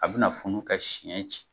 A bɛna funu ka siɲɛ ci.